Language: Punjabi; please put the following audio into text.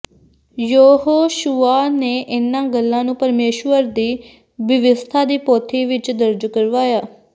ਯਹੋਸ਼ੁਆ ਨੇ ਇਨ੍ਹਾਂ ਗੱਲਾਂ ਨੂੰ ਪਰਮੇਸ਼ੁਰ ਦੀ ਬਿਵਸਥਾ ਦੀ ਪੋਥੀ ਵਿੱਚ ਦਰਜ ਕਰਵਾਇਆ